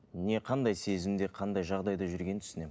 не қандай сезімде қандай жағдайда жүргенін түсінемін